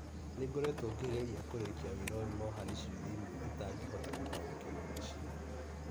Nĩ ngoretwo ngĩgeria kũrĩkia wĩra ũyũ no harĩ ciũria imwe itangĩhota gũtaũkĩrũo nĩcio